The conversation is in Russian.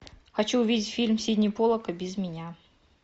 хочу увидеть фильм сидни поллака без меня